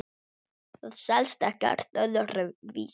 Það selst ekkert öðru vísi.